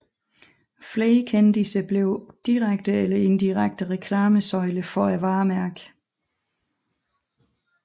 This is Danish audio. Flere kendisser blev direkte og indirekte reklamesøjler for varemærket